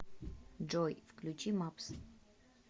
джой включи мэпс